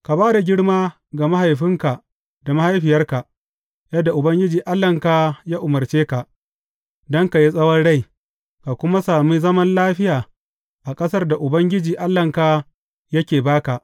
Ka ba da girma ga mahaifinka da mahaifiyarka, yadda Ubangiji Allahnka ya umarce ka, don ka yi tsawon rai, ka kuma sami zaman lafiya a ƙasar da Ubangiji Allahnka yake ba ka.